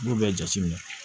I b'o bɛɛ jateminɛ